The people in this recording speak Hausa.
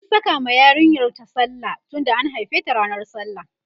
an Saka ma yarinyar ta sallah tunda an haife ta ranan sallah